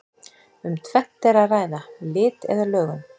Um tvennt er að ræða: Lit eða lögun.